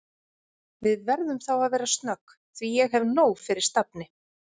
Við verðum þá að vera snögg því ég hef nóg fyrir stafni